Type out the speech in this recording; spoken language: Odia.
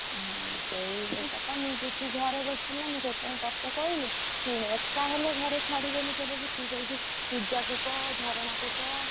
ହଁ, ସେଇ କଥା ମୁଁ ସେଇଥିପାଇଁ ତତେ କହିଲି, ତୁ ଘରେ ବସିଛୁ ନା ସେଥିପାଇଁ ତତେ କହିଲି, ଶୁଣେ ଏକା ହେଲେ ଘରେ ଛାଡ଼ିବେନି କେବେ ବି, ତୁ ସେଠି ପୂଜା କୁ କହ ଝରଣା କୁ କହ।